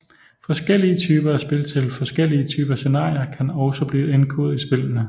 Forskellige typer af spil til forskellige typer scenarier kan også blive indkodet i spillene